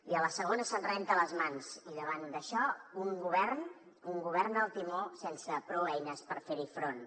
i a la segona se’n renta les mans i davant d’això un govern al timó sense prou eines per fer hi front